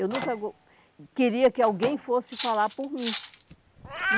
Eu nunca vou queria que alguém fosse falar por mim.